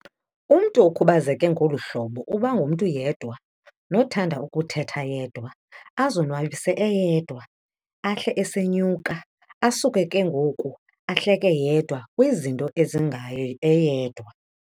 umntu okhubazeke ngolu hlobo ubangumntu yedwa, nothanda ukuthetha yedwa, azonwabise eyedwa, ahle esenyuka, asuke ke ngoku ahleke yedwa kwizinto ezingaye eyedwa.